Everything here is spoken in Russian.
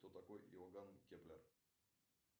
кто такой иоганн кеплер